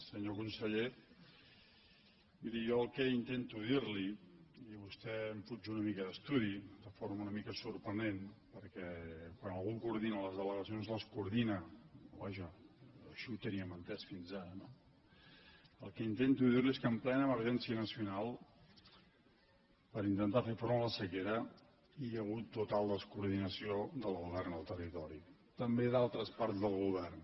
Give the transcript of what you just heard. senyor conseller miri jo el que intento dir li i vostè em fuig una mica d’estudi de forma una mica sorprenent perquè quan algú coordina les delegacions les coordina o vaja així ho teníem entès fins ara no el que intento dir li és que en plena emergència nacional per intentar fer front a la sequera hi ha hagut total descoordinació del govern al territori també a d’altres parts del govern